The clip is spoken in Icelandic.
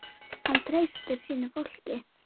Hann treysti sínu fólki.